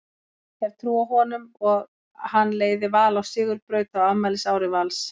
Hef trú á honum og hann leiði Val á sigurbraut á afmælisári Vals.